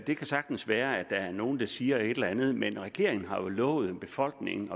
det kan sagtens være at der er nogle der siger et eller andet men regeringen har jo lovet befolkningen